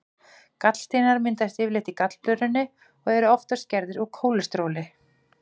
Gallsteinar myndast yfirleitt í gallblöðrunni og eru oftast gerðir úr kólesteróli.